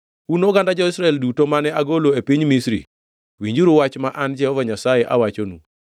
Un oganda jo-Israel duto mane agolo e piny Misri, winjuru wach ma an Jehova Nyasaye awachonu: